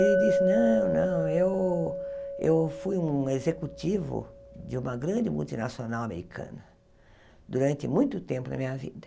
Ele disse, não, não, eu eu fui um executivo de uma grande multinacional americana durante muito tempo da minha vida.